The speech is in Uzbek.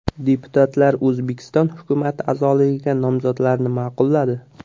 Deputatlar O‘zbekiston hukumati a’zoligiga nomzodlarni ma’qulladi.